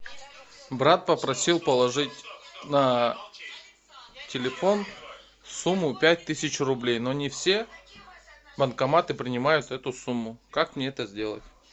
брат попросил положить на телефон сумму пять тысяч рублей но не все банкоматы принимают эту сумму как мне это сделать